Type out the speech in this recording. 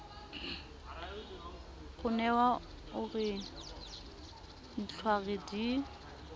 ronewa o re ditlhware di